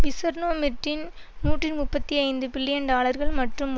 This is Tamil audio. விசெர்ணோ மிர்டீன் நூற்றி முப்பத்தி ஐந்துபில்லியன் டாலர்கள் மற்றும்